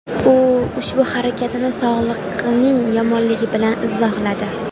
U ushbu harakatini sog‘lig‘ining yomonligi bilan izohladi.